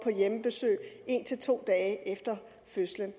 hjemmebesøg af en en to dage efter fødslen